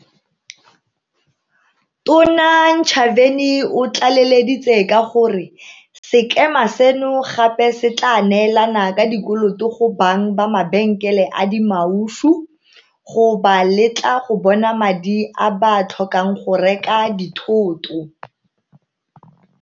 Tona Ntshavheni o tlaleleditse ka gore sekema seno gape se tla neelana ka dikoloto go bang ba mabenkele a dimaushu, go ba letla go bona madi a ba a tlhokang go reka dithoto.